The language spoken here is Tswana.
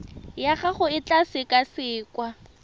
ya gago e tla sekasekwa